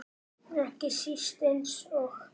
Ekki síst eins og